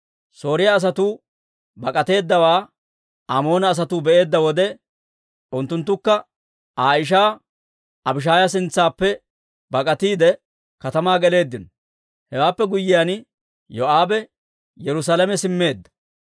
Sooriyaa asatuu bak'ateeddawaa Amoona asatuu be'eedda wode, unttunttukka Aa ishaa Abishaaya sintsaappe bak'atiide, katamaa geleeddino. Hewaappe guyyiyaan, Yoo'aabe Yerusaalame simmeedda.